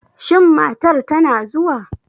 Shin matar tana zuwa?